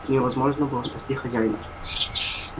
невозможно было спасти хозяина